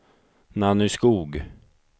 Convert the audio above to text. Nanny Skoog